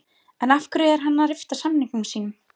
En af hverju er hann að rifta samningi sínum?